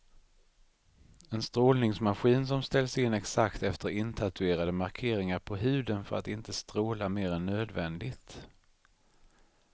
En strålningsmaskin som ställs in exakt efter intatuerade markeringar på huden för att inte stråla mer än nödvändigt.